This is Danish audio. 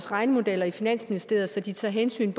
regnemodeller i finansministeriet så de tager hensyn